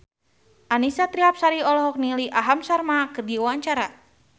Annisa Trihapsari olohok ningali Aham Sharma keur diwawancara